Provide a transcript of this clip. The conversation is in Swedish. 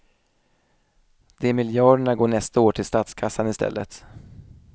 De miljarderna går nästa år till statskassan i stället.